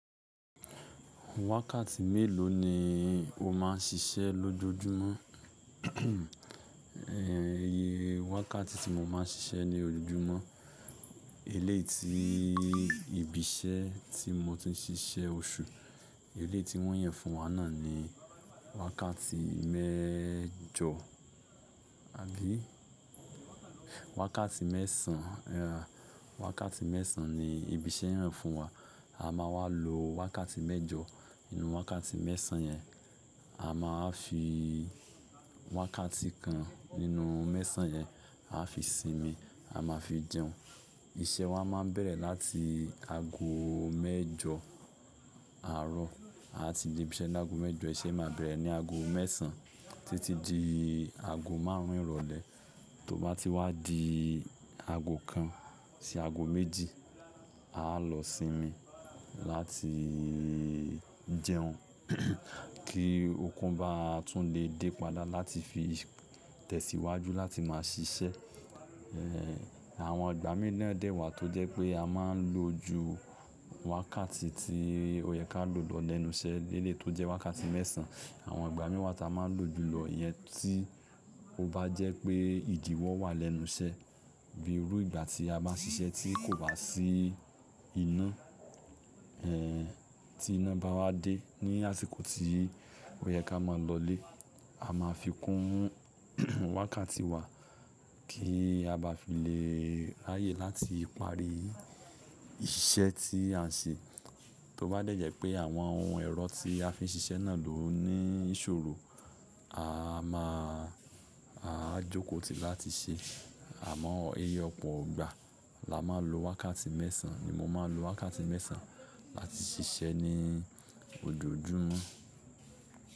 Wákàtí mélòó ni o máà ń ṣiṣẹ́ lójojúmọ́? Wákàtí tí mo máa ń ṣiṣẹ́ ní ojoojúmọ́, eléyi tí ibi iṣẹ́ tí mo ti ń ṣiṣẹ́ oṣù, eléyu tí wọ́n yàn fún wa náà ni wákàtí mẹ́jọ, àbí wákàtí mẹ́sàn án. Wákàtí mẹ́sàn án ni ibi iṣẹ́ yàn fún wa. A máa wá lo wákàtí mẹ́jọ nínú wákàtí mẹ́sàn án yẹn. A má a fi wákàtí kan nínú mẹ́sàn án yẹn, a fi sinmi, a máa fi jẹun. Iṣẹ́ wa máa ń bẹ̀rẹ̀ láti aago mẹ́jọ àárọ̀. A ti dé ibi iṣẹ́ ní aago mẹ́jọ, iṣẹ́ máa bẹ̀rẹ̀ ní aago mẹ́sàn án títí di aago márùn ún ìrọ̀lẹ́. Tó bá ti wá di aago kan sí aago méjì, a á lọ sinmi láti jẹun. Kí okun bá tún lè dé padà láti fi tẹ̀síwájú láti máa ṣiṣẹ́. Àwọn ìgbà mìíràn dẹ́wàá tó jẹ́ pé a máa ń lo ju wákàtí tí ó yẹ ká lò lọ lẹ́nu iṣẹ́ léleyi tó jẹ́ wákàtí mẹ́sàn án. Àwọn ìgbà mí wà tí a máa ń lo jùlọ, ìyẹn tí ó bá jẹ́ pé ìdíwọ́ wà lẹ́nu iṣẹ́ bí irú ìgbà tí a bá ń ṣiṣẹ́ tí kò wá sí ina, tí iná bá wá dé ní àsìkò tí ó yẹ ká máa lọlé. A máa fikún wákàtí wa kí a bá fi lè raáyè láti parí iṣẹ́ tí a ń ṣe. Tó bá dẹ́ jẹ̀ pé àwọn ohun ẹ̀rọ tí a fi ń ṣiṣẹ́ náà ló ní ìṣòro, a máa, a á jókòó tì láti ṣe. Àmọ́ ẹyọ pọ̀ gba. La máa lo wákàtí mẹ́sàn án ni mo máa ń lo wákàtí mẹ́sàn án láti ṣiṣẹ́ ní ojoojúmọ́.